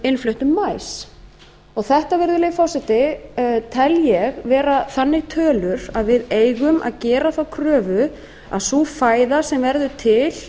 innfluttum maí þetta tel ég vera slíkar tölur að við eigum að gera þá kröfu að fæða sem verður til